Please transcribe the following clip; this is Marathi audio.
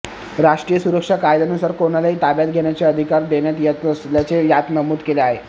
राष्ट्रीय सुरक्षा कायद्यानुसार कोणालाही ताब्यात घेण्याचे अधिकार देण्यात येत असल्याचे यात नमूद केले आहे